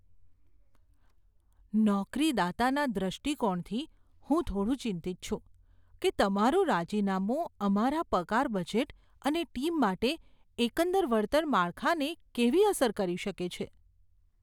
નોકરીદાતાના દૃષ્ટિકોણથી, હું થોડું ચિંતિત છું કે તમારું રાજીનામું અમારા પગાર બજેટ અને ટીમ માટે એકંદર વળતર માળખાને કેવી અસર કરી શકે છે.